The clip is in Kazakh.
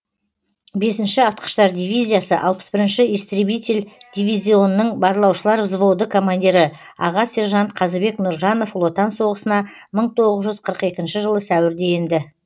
бесінші атқыштар дивизиясы алпыс бірінші истребитель дивизионының барлаушылар взводы командирі аға сержант қазыбек нұржанов ұлы отан соғысына мың тоғыз жүз қырық екінші жылы сәуірде енді